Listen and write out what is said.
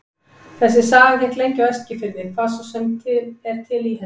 Þessi saga gekk lengi á Eskifirði, hvað svo sem er til í henni.